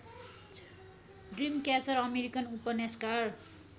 Dreamcatcher American उपन्यासकार